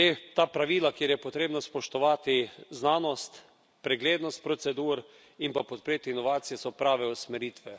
Ta pravila, kjer je potrebno spoštovati znanost, preglednost procedur in pa podpreti inovacije, so prave usmeritve.